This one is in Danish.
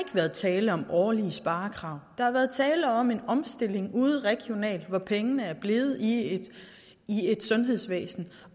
været tale om årlige sparekrav der har været tale om en omstilling ude regionalt hvor pengene er blevet i et sundhedsvæsen